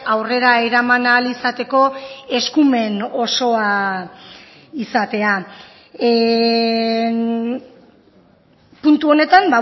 aurrera eraman ahal izateko eskumen osoa izatea puntu honetan